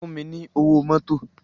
Fún mi ni ówó mòtó